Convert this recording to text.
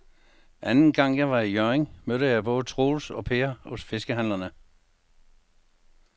Anden gang jeg var i Hjørring, mødte jeg både Troels og Per hos fiskehandlerne.